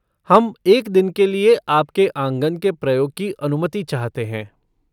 हम एक दिन के लिए आपके आँगन के प्रयोग की अनुमति चाहते हैं।